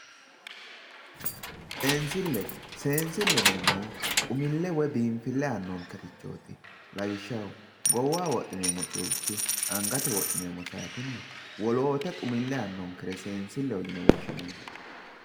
Seensille, seensille yineemmohu woy biinfille aannonkerichooti. Lawishshaho goowaho wodhineemmo culki angate wodhineemmo saatenna wolootta xumille aannonkere seensilleho yine woshshineemmo.